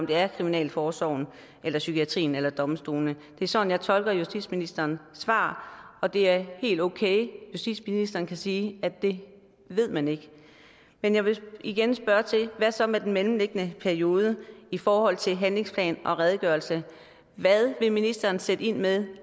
det er kriminalforsorgen eller psykiatrien eller domstolene det er sådan jeg tolker justitsministerens svar og det er helt okay justitsministeren kan sige at det ved man ikke men jeg vil igen spørge hvad så med den mellemliggende periode i forhold til handlingsplanen og redegørelsen hvad vil ministeren sætte ind med